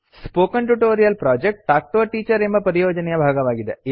spoken tutorial project talk to a teacher ಎಂಬ ಪರಿಯೋಜನೆಯ ಭಾಗವಾಗಿದೆ